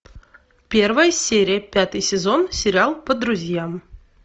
первая серия пятый сезон сериал по друзьям